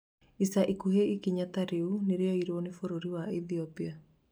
ica ikuhĩ ikinya ta rĩu nirioirwo nĩ bũrũri wa Ethiopia